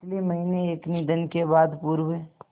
पिछले महीने हुए निधन के बाद पूर्व